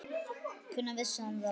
Hvenær vissi hann það?